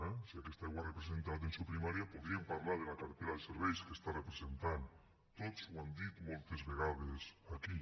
eh si aquesta aigua representa l’atenció primària podríem parlar de la cartera de serveis que està representant tots ho han dit moltes vegades aquí